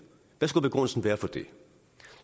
hvad skulle begrundelsen være for det